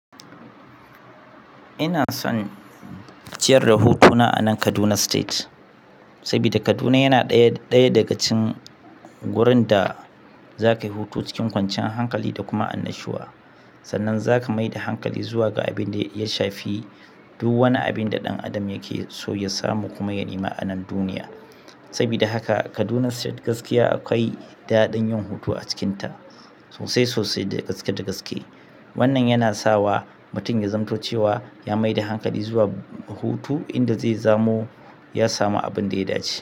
Ina son ciyar da hutu na a nan Kaduna State. Saboda Kaduna yana ɗaya daga cikin wurin da za ka yi hutu cikin kwanciyar hankali da kuma annashuwa. Sannan za ka mai da hankali zuwa ga abin da ya shafi duk wani abin da ɗan adam yake so ya samu kuma ya nema a nan duniya. Saboda haka Kaduna State gaskiya akwai daɗin yin hutu a cikinta, sosai sosai da gaske da gaske. Wannan yana sawa mutum ya zamanto cewa ya maida hankali zuwa hutu inda zai zamo, ya samu abin da ya dace.